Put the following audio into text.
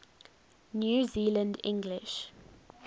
new zealand english